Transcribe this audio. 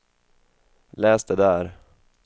läs det där